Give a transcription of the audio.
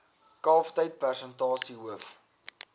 kalftyd persentasie hoof